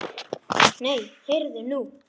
Nei, heyrðu nú.